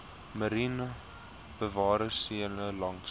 mariene bewaringsarea langs